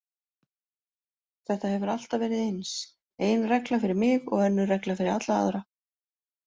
Þetta hefur alltaf verið eins, ein regla fyrir mig og önnur regla fyrir alla aðra.